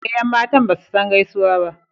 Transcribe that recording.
Eh yan matan basu san gaisuwa ba.